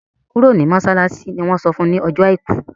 kúrò ní masalasi! ní wón sọfún ní Ọjọ́ aìkú!